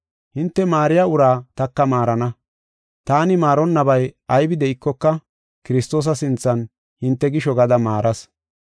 Hinte maariya uraa taka maarana. Taani maaranabay aybi de7ikoka, Kiristoosa sinthan hinte gisho gada maaras.